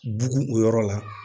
Bugu o yɔrɔ la